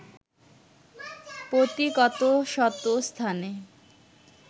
পতি কত শত স্থানে